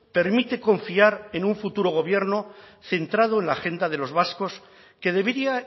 permite confiar en un futuro gobierno centrado en la agenda de los vascos que debería